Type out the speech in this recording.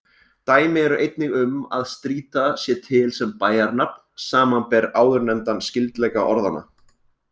Dæmi eru einnig um að Strýta sé til sem bæjarnafn, samanber áðurnefndan skyldleika orðanna.